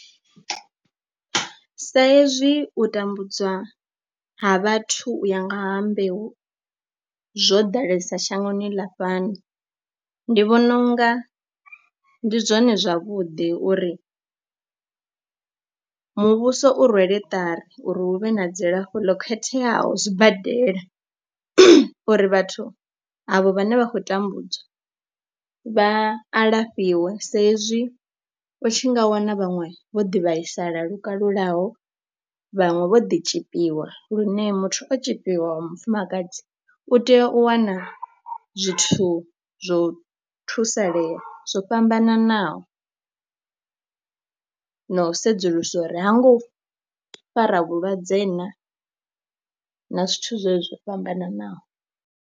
Sa ezwi u tambudzwa ha vhathu u ya nga ha mbeu zwo ḓalesa shangoni ḽa fhano, ndi vhona u nga ndi zwone zwavhuḓi uri muvhuso u rwele tari uri hu vhe na dzilafho ḽo khetheaho zwibadela uri vhathu avho vhane vha khou tambudzwa vha alafhiwe, sa izwi u tshi nga wana vhaṅwe vho ḓi vhaisala lukalulaho vhaṅwe vho ḓi tzhipiwa. Lune muthu o tzhipiwa wa mufumakadzi u tea u wana zwithu zwo thusalea zwo fhambananaho no na u sedzulusa uri ha ngo fara vhulwadze na na zwithu zwo fhambananaho.